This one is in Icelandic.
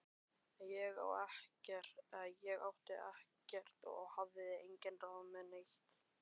Ég átti ekkert og hafði engin ráð með neitt.